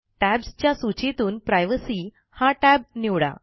Tabsच्या सूचीतून प्रायव्हेसी हा टॅब निवडा